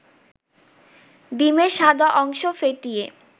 ডিমের সাদা অংশ ফেটিয়ে